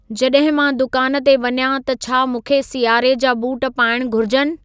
जॾहिं मां दुकान ते वञां त छा मूंखे सियारे जा बूट पाइणु घुरिजुनि